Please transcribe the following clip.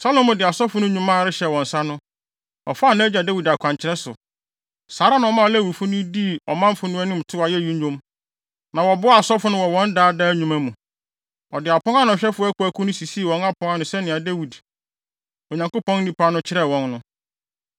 Salomo de asɔfo no nnwuma rehyɛ wɔn nsa no, ɔfaa nʼagya Dawid akwankyerɛ so. Saa ara na ɔmaa Lewifo no dii ɔmanfo no anim too ayeyi nnwom, na wɔboaa asɔfo no wɔ wɔn daa daa nnwuma mu. Ɔde apon ano ahwɛfo akuwakuw no sisii wɔn apon ano sɛnea Dawid, Onyankopɔn nipa no kyerɛɛ wɔn no.